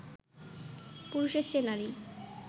পুরুষের চেয়ে নারী